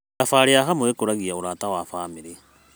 Thabarĩ ya hamwe ĩkũragia ũrata wa bamĩrĩ.